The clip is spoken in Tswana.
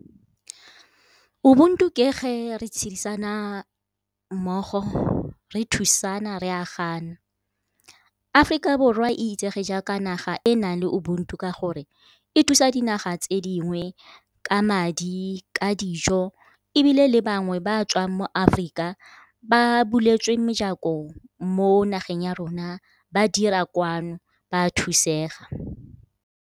Ubuntu ke ge re tshedisana mmogo, re thusana re aganana. Aforika Borwa e itsege jaaka naga e e nang le ubuntu ke gore e thusa dinaga tse dingwe ka madi, ka dijo ebile le bangwe ba tswang mo Aforika ba buletswe mejako mo nageng ya rona ba dira kwano, ba thusega.